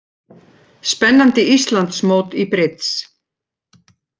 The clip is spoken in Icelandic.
Spennandi Íslandsmót í brids